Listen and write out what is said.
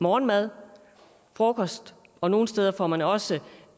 morgenmad frokost og nogle steder får man også